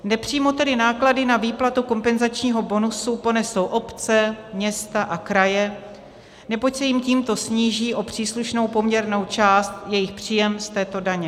Nepřímo tedy náklady na výplatu kompenzačního bonusu ponesou obce, města a kraje, neboť se jim tímto sníží o příslušnou poměrnou část jejich příjem z této daně.